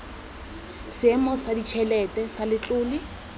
seemo sa ditšhelete sa letlole